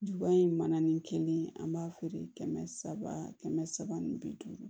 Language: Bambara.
Ju in man nin kelen an b'a feere kɛmɛ saba kɛmɛ saba ni bi duuru